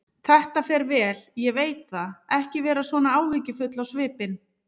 Þetta fer vel, ég veit það, ekki vera svona áhyggjufull á svipinn.